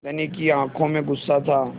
धनी की आँखों में गुस्सा था